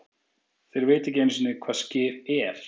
Þeir vita ekki einusinni hvað Skyr ER?!